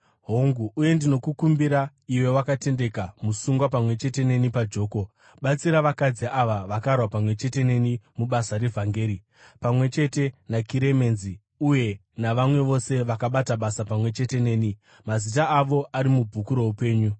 Hongu, uye ndinokukumbira iwe wakatendeka, musungwa pamwe chete neni pajoko, batsira vakadzi ava vakarwa pamwe chete neni mubasa revhangeri, pamwe chete naKiremenzi uye navamwe vose vakabata basa pamwe chete neni, mazita avo ari mubhuku roupenyu.